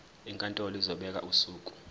inkantolo izobeka usuku